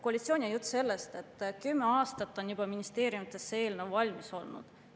Koalitsioon räägib sellest, et juba kümme aastat on see eelnõu ministeeriumides valmis olnud.